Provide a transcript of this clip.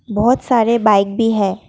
बहोत सारे बाइक भी है।